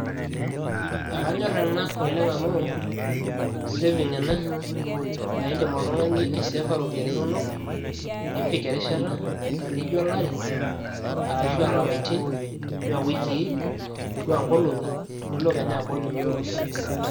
ekanyor ena oleng' amu saving ena naa idim oltung'ani aisefa iropiyiani, nipik erishata nijo olari ,ashu aa ilapaitin ashu aa iwikii, ashu aa ingolong'i, nilo kenya abol inoto iropiyiani kumok.